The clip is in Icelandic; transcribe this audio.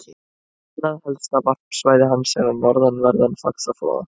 Annað helsta varpsvæði hans er við norðanverðan Faxaflóa.